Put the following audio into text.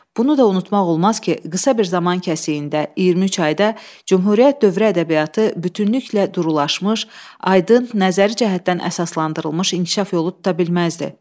Bunu da unutmaq olmaz ki, qısa bir zaman kəsiyində, 2-3 ayda Cümhuriyyət dövrü ədəbiyyatı bütünüklə durulaşmış, aydın, nəzəri cəhətdən əsaslandırılmış inkişaf yolu tuta bilməzdi.